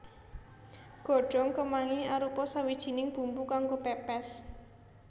Godhong kemangi arupa sawijining bumbu kanggo pèpès